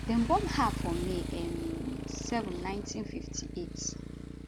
dem born her for may um 7 1958